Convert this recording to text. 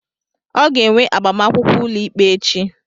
ọ ga-enwe agbamakwụkwọ ụlọikpe echi